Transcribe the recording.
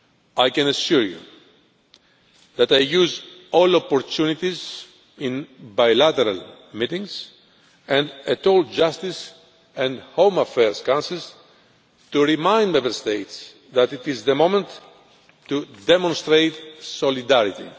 I can assure you that I use all opportunities in bilateral meetings and at all Justice and Home Affairs Councils to remind Member States that it is the moment to demonstrate solidarity.